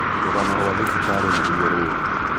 Rūgano rwa thibitarī nīruo rūrū